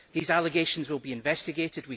These allegations will be investigated.